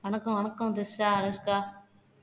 வணக்கம் வணக்கம் திரிஷா அனுஷ்கா